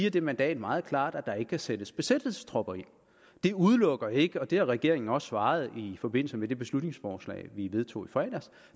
at det mandat meget klart siger at der ikke kan sættes besættelsestropper ind det udelukker ikke og det har regeringen også svaret i forbindelse med det beslutningsforslag vi vedtog i fredags